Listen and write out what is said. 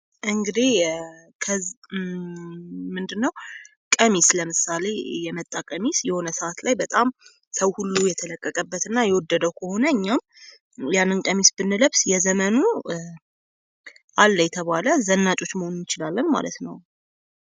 እንግዲህ ምንድነው ቀሚስ ለምሳሌ የመጣ ቀሚስ የሆነ ሰአት ላይ በጣም ሰው ሁሉ የተለቀቀበት እና ሰው ሁሉ የወደደው ከሆነ እኛ ያንን ቀሚስ ብንለብስ የዘመኑ አለ የተባለ ዘናጮች መሆን እንችላለን ማለት ነው ።